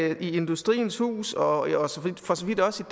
i industriens hus og for så vidt også